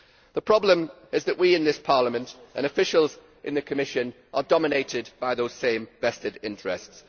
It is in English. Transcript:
The problem is that we in this Parliament and officials in the Commission are dominated by those same vested interests.